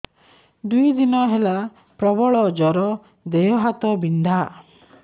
ଦୁଇ ଦିନ ହେଲା ପ୍ରବଳ ଜର ଦେହ ହାତ ବିନ୍ଧା